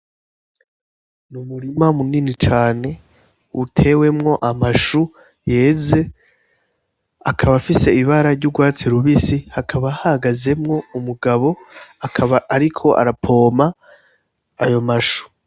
N'umurima munini cane utewemwo amashu yeze, akaba afise ibara ry'urwatsi rubisi, hakaba hahagazemwo umugabo, akaba ariko arapompa ayo mashu.